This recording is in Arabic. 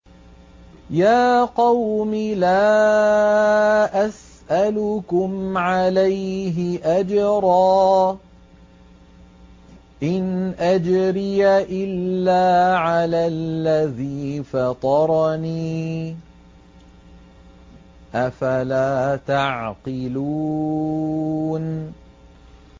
يَا قَوْمِ لَا أَسْأَلُكُمْ عَلَيْهِ أَجْرًا ۖ إِنْ أَجْرِيَ إِلَّا عَلَى الَّذِي فَطَرَنِي ۚ أَفَلَا تَعْقِلُونَ